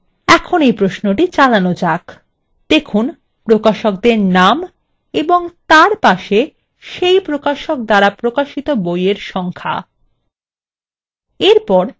দেখুন প্রকাশকদের names এবং তার পাশে সেই প্রকাশক দ্বারা প্রকাশিত বইএর সংখ্যা